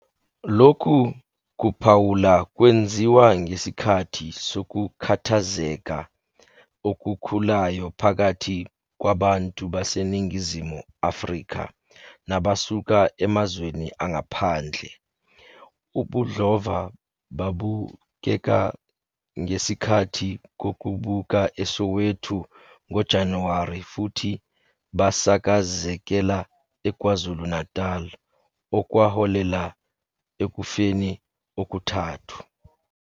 Lokhu kuphawula kwenziwa ngesikhathi sokukhathazeka okukhulayo phakathi kwabantu baseNingizimu Afrika nabasuka emazweni angaphandle, ubudlova babukeka ngesikhathi kuqubuka eSoweto ngoJanuwari futhi basakazekela eKwaZulu-Natal, okwaholela ekufeni okuthathu.